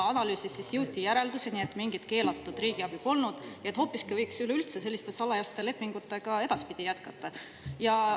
Analüüsis jõuti järeldusele, et mingit keelatud riigiabi ei olnud, vaid üleüldse võiks selliste salajaste lepingutega edaspidi hoopiski jätkata.